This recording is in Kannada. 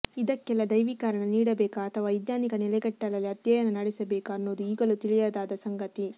ಇದಕ್ಕೆಲ್ಲಾ ದೈವಿ ಕಾರಣ ನೀಡಬೇಕಾ ಅಥವಾ ವೈಜ್ಞಾನಿಕ ನೆಲೆಗಟ್ಟಲಲ್ಲಿ ಅಧ್ಯಯನ ನಡೆಸಬೇಕಾ ಅನ್ನೊದು ಈಗಲೂ ತಿಳಿಯದಾದ ಸಂಗತಿ